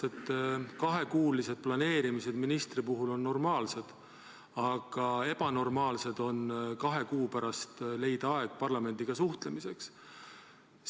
Kahekuulised planeerimised on ministri puhul normaalsed, aga on ebanormaalne leida kahe kuu pärast aeg parlamendiga suhtlemiseks.